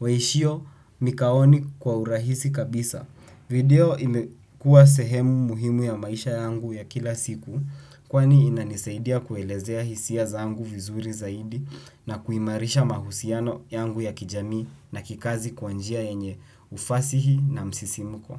waishio mikaoni kwa urahisi kabisa. Video imekuwa sehemu muhimu ya maisha yangu ya kila siku kwani inanisaidia kuelezea hisia zangu vizuri zaidi na kuimarisha mahusiano yangu ya kijamii na kikazi kwa njia yenye ufasihi na msisimuko.